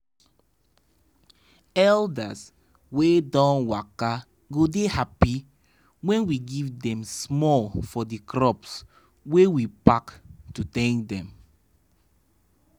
elders wey don waka go dey happy when we give them small for the crops wey we pack to thank them.